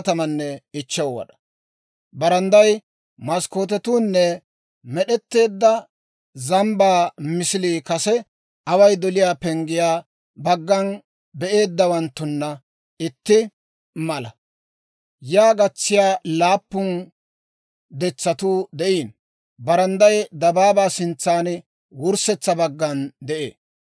Barandday, maskkootetuunne med'etteedda zambbaa misilii kase Away doliyaa Penggiyaa baggan be'eeddawanttuna itti mala. Yaa gatsiyaa laappun detsatuu de'iino. Barandday dabaabaa sintsan wurssetsa baggana de'ee.